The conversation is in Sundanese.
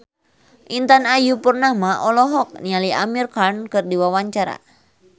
Intan Ayu Purnama olohok ningali Amir Khan keur diwawancara